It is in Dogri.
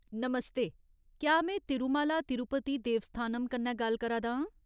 नमस्ते ! केह् में तिरुमाला तिरुपति देवस्थानम कन्नै गल्ल करा दा आं ?